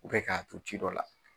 U bɛ k'a to ci dɔ la